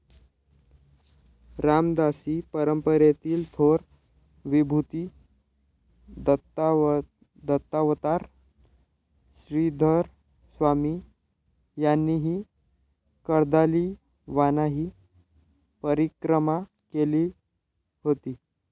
रामदासी परंपरेतील थोर विभूती दत्तावतार श्रीधरस्वामी यांनीही कार्दालीवानाही परिक्रमा केली होती.